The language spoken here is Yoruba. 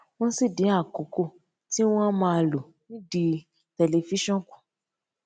wón sì dín àkókò tí wón á máa lò nídìí tẹlifíṣòn kù